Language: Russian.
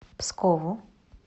пскову